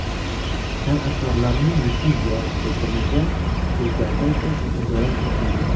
San’atkorlarning litsenziya bitimiga o‘zgartirish va qo‘shimchalar kiritildi.